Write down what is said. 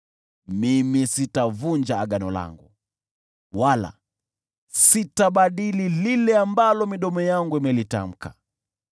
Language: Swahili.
Mimi sitavunja agano langu wala sitabadili lile ambalo midomo yangu imelitamka.